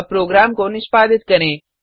अब प्रोग्राम को निष्पादित करें